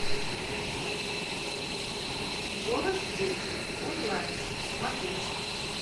голос дети онлайн смотреть